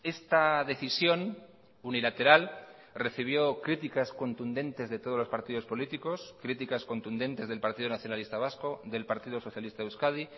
esta decisión unilateral recibió críticas contundentes de todos los partidos políticos críticas contundentes del partido nacionalista vasco del partido socialista de euskadi